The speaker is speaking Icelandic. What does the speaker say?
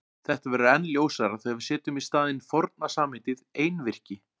Þetta verður enn ljósara þegar við setjum í staðinn forna samheitið einvirki.